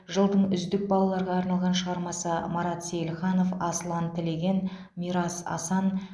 жылдың үздік балаларға арналған шығармасы марат сейілханов асылан тілеген мирас асан